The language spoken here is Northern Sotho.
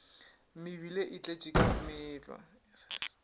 mebile e tletše ka meetlwa